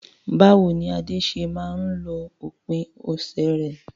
Báwo ni Ade ṣe máa ń lo òpin ọ̀sẹ̀ rẹ̀?